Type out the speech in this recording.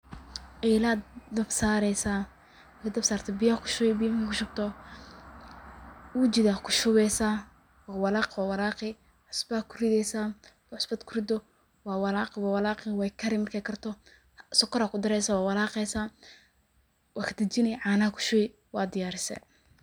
Elad dab saareysa, ega dab sarto biya kushubi, marka kushubto ujida kushubeysa, waa walaaqi walaaqi, cusba kurideysa, marki cusbad kurido waa walaaqi waa walaaqi way kari, markay karto sokor aa kudareysa waa walaaqeysa waa kadejini caana kushubi waa diyaarise